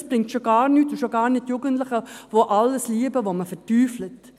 Es bringt gar nichts, und schon gar nicht den Jugendlichen, die alles lieben, das man verteufelt.